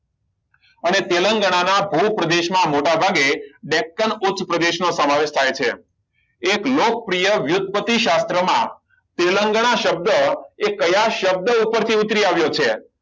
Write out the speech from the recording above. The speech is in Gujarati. અને તેલંગાના ભુ પ્રદેશમાં મોટાભાગે ઉચ્ચપ્રદેશનો સમાવેશ થાય છે એક લોકપ્રિય યુદ્ધ પ્રતિ શાસ્ત્રમાં તેલંગાના શબ્દ એ કયા શબ્દ ઉપરથી ઉતરી આવ્યો છે